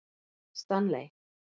Stanley